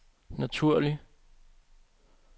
naturlig